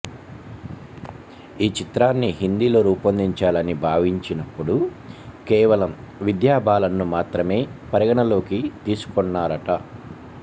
ఈ చిత్రాన్ని హిందీలో రూపొందించాలని భావించినప్పుడు కేవలం విద్యా బాలన్ను మాత్రమే పరిగణనలోకి తీసుకొన్నారట